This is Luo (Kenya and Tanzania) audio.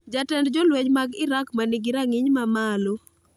Jatend jolweny mag Iraq ma nigi rang'iny mamalo